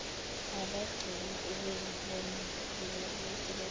abagcina ngokuzibona zibathela